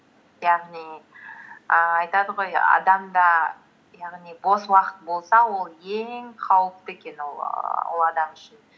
яғни ііі айтады ғой адамда яғни бос уақыт болса ол ең қауіпті екен ііі ол адам үшін